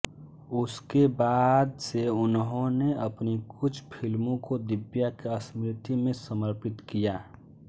उसके बाद से उन्होंने अपनी कुछ फिल्मों को दिव्या की स्मृति में समर्पित किया